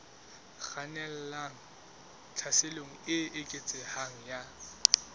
kgannelang tlhaselong e eketsehang ya